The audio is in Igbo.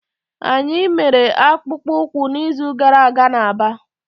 Anyị mere akpụkpọ ụkwụ n'izu gara aga na Aba.